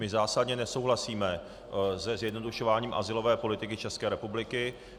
My zásadně nesouhlasíme se zjednodušováním azylové politiky České republiky.